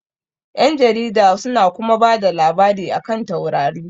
Ƴan jarida su na kuma bada labarai a kan taurari